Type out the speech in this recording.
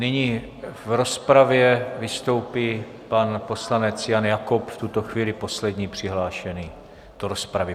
Nyní v rozpravě vystoupí pan poslanec Jan Jakob, v tuto chvíli poslední přihlášený do rozpravy.